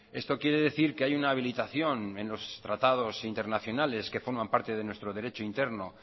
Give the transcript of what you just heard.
esto quiere decir que hay una habilitación en los tratados internacionales que forman parte de nuestro derecho interno